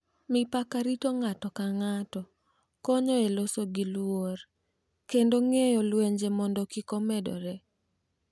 Mipaka rito ng’ato ka ng’ato, konyo e loso gi luor, kendo geng’o lwenje mondo kik omedore.